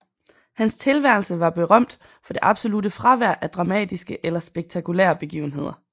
Hans tilværelse var berømt for det absolutte fravær af dramatiske eller spektakulære begivenheder